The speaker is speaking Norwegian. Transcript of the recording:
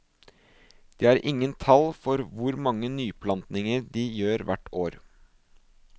De har ingen tall for hvor mange nyplantninger de gjør hvert år.